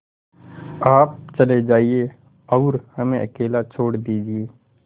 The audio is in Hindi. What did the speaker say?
आप चले जाइए और हमें अकेला छोड़ दीजिए